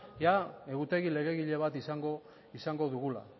egutegi legegile bat izango dugula